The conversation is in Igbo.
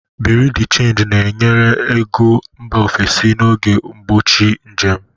Bureau de change nyere ego mba ofesi n'oge mgbochi njem.